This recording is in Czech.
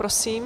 Prosím.